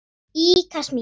Í Kasmír,